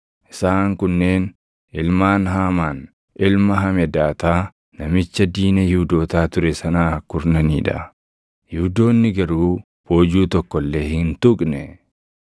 isaan kunneen ilmaan Haamaan ilma Hamedaataa namicha diina Yihuudootaa ture sanaa kurnanii dha. Yihuudoonni garuu boojuu tokko illee hin tuqne.